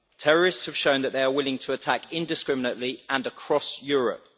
Terrorists have shown that they are willing to attack indiscriminately and across Europe.